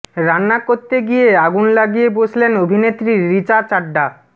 রান্না করতে গিয়ে আগুন লাগিয়ে বসলেন অভিনেত্রী রিচা চাড্ডা